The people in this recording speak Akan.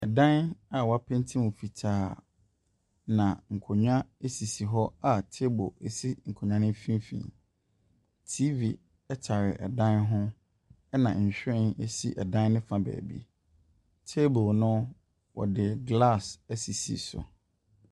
Ɛdan a wɔapenti mu fitaa. Na nkonnwa sisi hɔ table si nkonnwa no mfimfini. TV tare dan ho, ɛda nhwiren si dan no fa baabi. Table no, wɔde glass asisi so.